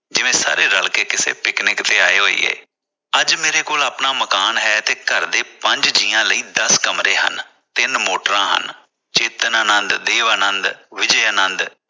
ਜਿਵੇਂ ਸਾਰੇ ਰਲ ਕੇ ਪਿਕਨਿਕ ਨੇ ਆਇਏ ਹੋਇਏ । ਅੱਜ ਮੇਰੇ ਕੋਲ ਆਪਣਾ ਮਕਾਨ ਹੈ ਤੇ ਘਰ ਦੇ ਪੰਜ ਜੀਆਂ ਲਈ ਦਸ ਕਮਰੇ ਹਨ ਤਿੰਨ ਮੋਟਰਾਂ ਹਨ ਚੇਤਨਾ ਆਨੰਦ, ਦੇਵਾਂ ਆਨੰਦ, ਵਿਜੇ ਆਨੰਦ